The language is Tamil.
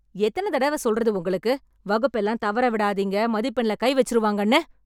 எத்தன தடவ சொல்றது உங்களுக்கு, வகுப்பெல்லாம் தவற விடாதீங்க, மதிப்பெண்ல கை வச்சுருவாங்கன்னு..